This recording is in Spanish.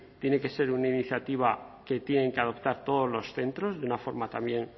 tiene que ser una iniciativa que tienen que adoptar todos los centros de una forma también